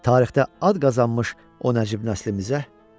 Tarixdə ad qazanmış o nəcib nəslimizə.